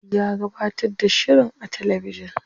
Ya gabatar da shirin a talabijin.